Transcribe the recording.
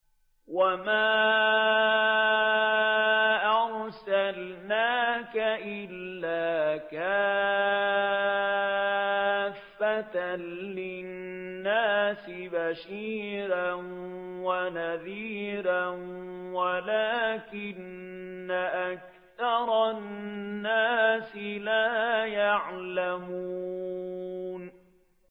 وَمَا أَرْسَلْنَاكَ إِلَّا كَافَّةً لِّلنَّاسِ بَشِيرًا وَنَذِيرًا وَلَٰكِنَّ أَكْثَرَ النَّاسِ لَا يَعْلَمُونَ